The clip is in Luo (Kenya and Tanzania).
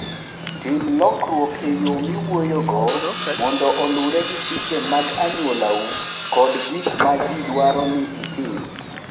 Tim lokruok e yo miwuoyogo mondo oluwre gi chike mag anyuolau kod gik ma ji dwaro ni itim.